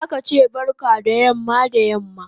Zaka che barka da yamma da yamma